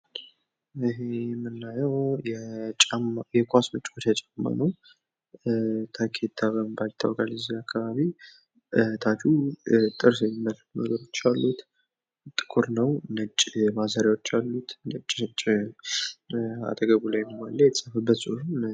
ይሄ የምናዬው የኳስ መጫዎቻ ጫማ ነው። ታኬታ በመባል ይታወቃል እዚህ አካባቢ። ታቹ ጥርስ የሚመስሉ ነገሮች አሉት ጥቁር ነው ነጭ ማሰርያ አሉት። ነጭ ነጭ አጠገቡላይም አለ የተፃፈበትም ፅሁፍ